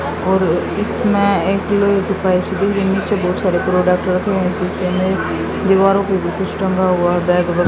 और इसमें एक नीचे बहुत सारे प्रोडक्ट रखे हुए शीशे में दीवारों पे भी कुछ टंगा हुआ बैग व--